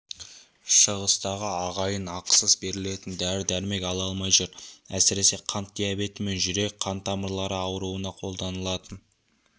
шығыстағы ағайын ақысыз берілетін дәрі-дәрмек ала алмай жүр әсіресе қант диабеті мен жүрек қан-тамырлары ауруына қолданылатын